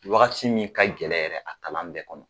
Wagati min ka gɛlɛn yɛrɛ a kalan bɛɛ kɔnɔ